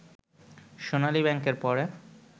সোনালী ব্যাংকের পরে